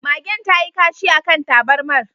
Magen tayi kashi akan tabarmar